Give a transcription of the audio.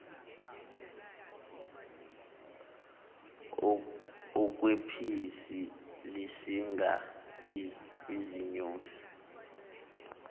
okwephisi lisinga izinyosi